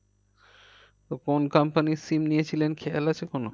তো কোন company র SIM নিয়েছিলেন খেয়াল আছে কোনো?